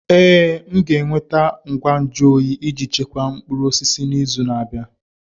Ee, m ga-enweta ngwa nju oyi iji chekwaa mkpụrụ osisi n'izu na-abịa.